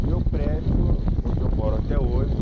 O meu prédio, onde eu moro até hoje,